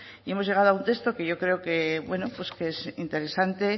hemos llegado a un texto que yo creo que bueno pues que es interesante